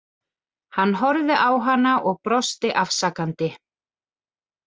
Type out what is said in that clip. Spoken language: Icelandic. Hann horfði á hana og brosti afsakandi.